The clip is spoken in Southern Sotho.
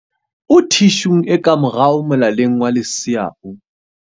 O thi shung e ka morao molaleng wa lesea o.